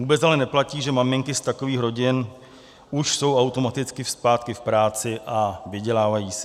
Vůbec ale neplatí, že maminky z takových rodin už jsou automaticky zpátky v práci a vydělávají si.